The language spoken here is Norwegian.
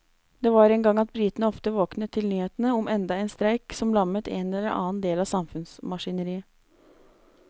Det var en gang at britene ofte våknet til nyhetene om enda en streik som lammet en eller annen del av samfunnsmaskineriet.